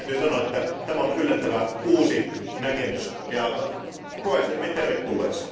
Täytyy sanoa, että tämä on yllättävä uusi näkemys, ja koen sen hyvin tervetulleeksi.